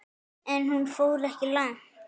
En hún fór ekki langt.